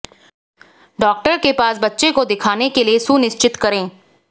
doctor के पास बच्चे को दिखाने के लिए सुनिश्चित करें